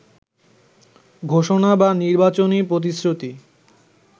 ঘোষণা বা নির্বাচনী প্রতিশ্রুতি